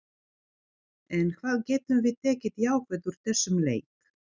En hvað getum við tekið jákvætt úr þessum leik?